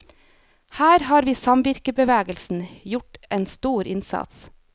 Her har samvirkebevegelsen gjort en stor innsats.